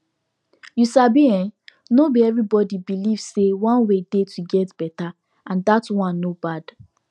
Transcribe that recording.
you sabi en no be everybody believe say one way dey to take get better and that one no bad